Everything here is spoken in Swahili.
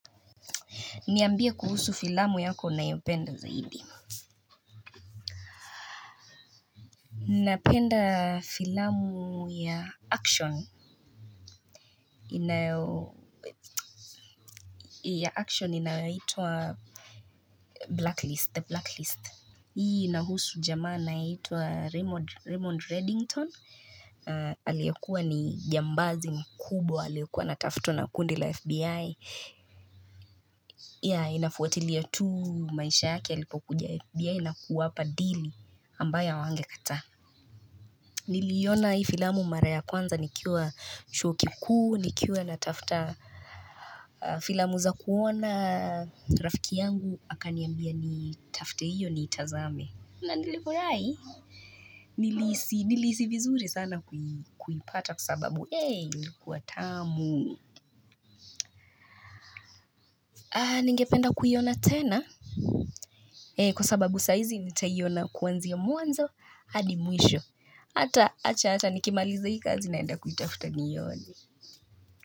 Niambie kuhusu filamu yako unayopenda zaidi. Ninapenda filamu ya action. Inayo ya action inayoitwa blacklist. The blacklist. Hii inahusu jamaa anaitwa Raymond Reddington. Aliyekuwa ni jambazi mkubwa. Aliyekuwa anatafutwa na kundi la FBI. Yea inafuatilia tu maisha yake alipokuja FBI. Na kuwapa deal ambayo hawangekataa. Niliona hii filamu mara ya kwanza nikiwa chuo kikuu, nikiwa natafta filamu za kuona rafiki yangu, akaniambia nitafte hiyo niitazame. Na nilifurai? Nilihisi vizuri sana kuipata kwa sababu, eey, ilikuwa tamu. Ningependa kuiona tena, kwa sababu saizi nitaiona kwanzia mwanzo, hadi mwisho. Hata, acha ata, nikimaliza hii kazi naenda kuitafta nione.